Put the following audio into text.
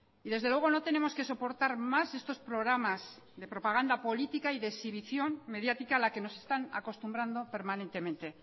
y desde luego no tenemos que soportar más estos programas de propaganda política y de exhibición mediática a la que nos están acostumbrando permanentemente